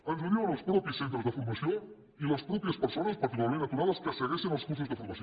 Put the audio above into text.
ens ho diuen els mateixos centres de formació i les mateixes persones particularment aturades que segueixen els cursos de formació